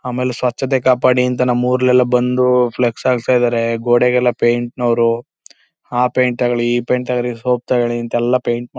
ಆಮೇಲೆ ಸ್ವಚ್ಛತೆ ಕಾಪಾಡಿ ಅಂತ ನಮ್ಮೂರಲ್ಲೆಲ್ಲ ಬಂದು ಫ್ಲೆಕ್ಸ್ ಹಾಕ್ತಾ ಇದ್ದಾರೆ.ಗೋಡೆಗೆಲ್ಲ ಪೈಂಟ್ ನವರು ಆ ಪೈಂಟ್ ತಗೋಳಿ ಈ ಪೈಂಟ್ ತಗೋಳಿ ಸೋಪ್ ತಗೋಳಿ ಅಂತ ಪೈಂಟ್ --